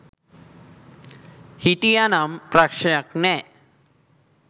හිටිය නම් ප්‍රශ්නයක් නෑ.